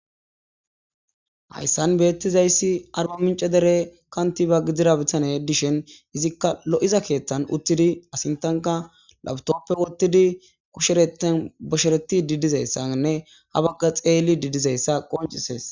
Hayssan bettizayssi arbamincce dere kanttiba gidadebetta gidishin izikka lo'iza kththan uuttidii a sinththanikka lapitoppe woththidii kuuretan boshsheretidii dizayssanne ha bagga xellidii dizayssa qonccises